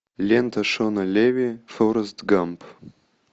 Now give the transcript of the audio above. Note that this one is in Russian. лента шона леви форрест гамп